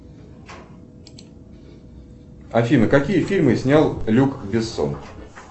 афина какие фильмы снял люк бессон